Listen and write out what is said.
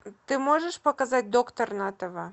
ты можешь показать доктор на тв